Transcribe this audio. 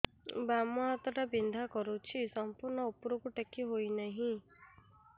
ବାମ ହାତ ଟା ବିନ୍ଧା କରୁଛି ସମ୍ପୂର୍ଣ ଉପରକୁ ଟେକି ହୋଉନାହିଁ